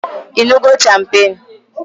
Ịñụgo champagne?